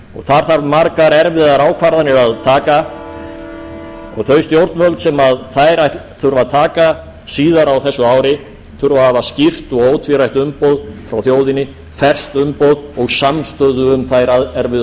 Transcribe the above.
það þarf margar erfiðar ákvarðanir að taka og þau stjórnvöld sem þær þurfa að taka síðar á þessu ári þurfa að hafa skýrt og ótvírætt umboð frá þjóðinni ferskt umboð og samstöðu um þær erfiðu